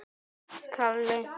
Það skiptir engu, elskan mín.